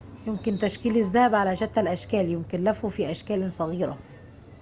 يمكن تشكيل الذهب على شتى الأشكال يمكن لفه في أشكالٍ صغيرة